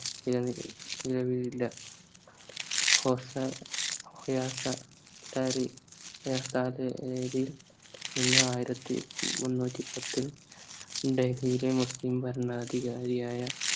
നിലനി നിലവിലില്ല ഹോസ ഹൊയാസാ കാരി നിന്ന് ആയിരത്തി മുന്നൂറ്റി പത്തിൽ ഡൽഹിയിലെ മുസ്ലിം ഭരണാധികാരിയായ